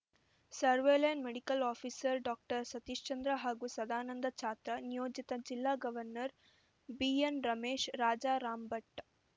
ಸರ್ವಲೆನ್ medical officer doctor Satishchandra ಹಾಗೂ ಸದಾನಂದ ಛಾತ್ರ ನಿಯೋಜಿತ ಜಿಲ್ಲಾ ಗವರ್ನರ್‌ ಬಿಎನ್‌ರಮೇಶ್‌ ರಾಜಾರಾಮ್‌ಭಟ್‌